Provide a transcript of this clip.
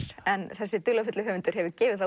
en þessi dularfulli höfundur hefur gefið það